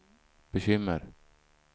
bekymmer